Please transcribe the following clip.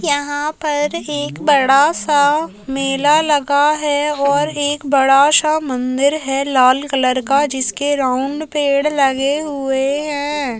यहाँ पर एक बड़ा सा मेला लगा है और एक बड़ा सा मंदिर है लाल कलर का जिसके राउन्ड पेड़ लगे हुए हैं।